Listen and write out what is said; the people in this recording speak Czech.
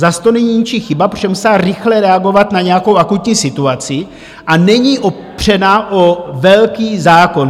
Zas to není ničí chyba, protože musela rychle reagovat na nějakou akutní situaci, a není opřena o velký zákon.